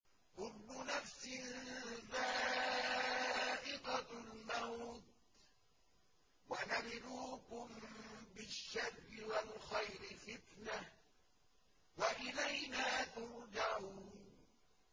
كُلُّ نَفْسٍ ذَائِقَةُ الْمَوْتِ ۗ وَنَبْلُوكُم بِالشَّرِّ وَالْخَيْرِ فِتْنَةً ۖ وَإِلَيْنَا تُرْجَعُونَ